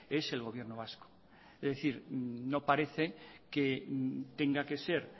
es el gobierno vasco es decir no parece que tenga que ser